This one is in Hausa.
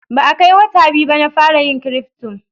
Ba a kai wata biyu ba na fara yin Cryfto.